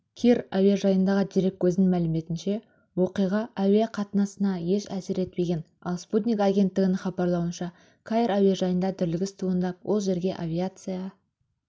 кир әуежайындағы дереккөздің мәліметінше оқиға әуе қатынасына еш әсер етпеген ал спутник агенттігінің хабарлауынша каир әуежайында дүрлігіс туындап ол жерге авиация